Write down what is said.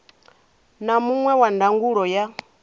na muṅwe wa ndangulo ya